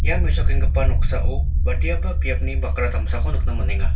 ia mesokenggipa noksao badiaba biapni bakra damsako nikna man·enga.